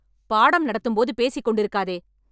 பாடம் நடத்தும் போது பேசிக் கொண்டிருக்காதே